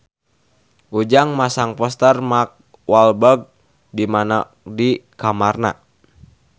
Ujang masang poster Mark Walberg di kamarna